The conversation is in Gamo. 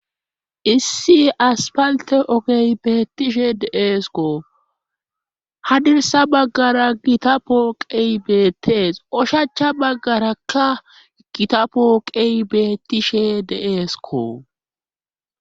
issi aspalte ogey beettishe deeeskko ha dirsa baggara gita pooqey beettees oshacha baggarakka gita pooqey beettishe deeesko